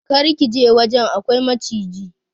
Kar ka je wajen, akwai maciji.